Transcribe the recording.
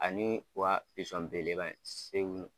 Ani u wa pisɔn bele beleba in segulu